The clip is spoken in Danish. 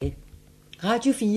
Radio 4